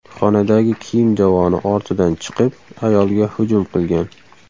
xonadagi kiyim javoni ortidan chiqib, ayolga hujum qilgan.